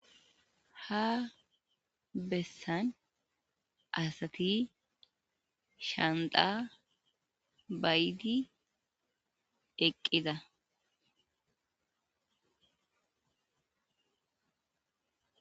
ha bessan asati shanda bayti deqqida